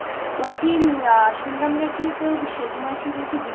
বলছি শুনলাম নাকি তোর সেজমাসি নাকি